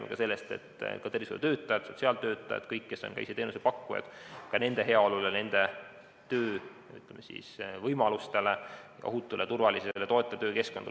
Me räägime ka tervishoiutöötajate, sotsiaaltöötajate, kõigi tervishoiuteenuse pakkujate heaolust, töövõimalustest, ohutust, turvalisest ja toetavast töökeskkonnast.